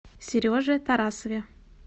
сереже тарасове